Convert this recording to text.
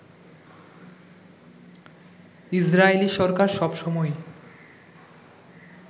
ইসরাইলি সরকার সবসময়ই